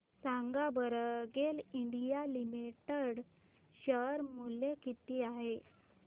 सांगा बरं GAIL India limited share मूल्य किती आहे